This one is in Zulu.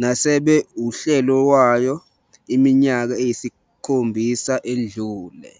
nasebe usihlalo wayo iminyaka eyisikhombisa edlule.